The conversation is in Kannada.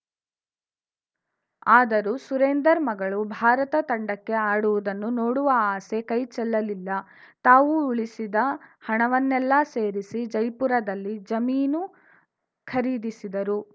ಆದರೂ ಸುರೇಂದರ್‌ ಮಗಳು ಭಾರತ ತಂಡಕ್ಕೆ ಆಡುವುದನ್ನು ನೋಡುವ ಆಸೆ ಕೈಚೆಲ್ಲಲಿಲ್ಲ ತಾವು ಉಳಿಸಿದ ಹಣವನ್ನೆಲ್ಲಾ ಸೇರಿಸಿ ಜೈಪುರದಲ್ಲಿ ಜಮೀನು ಖರೀಸಿದರು